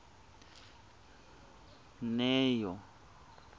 neo